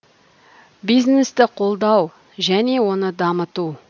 бизнесті қолдау және оны дамыту